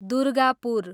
Durgapur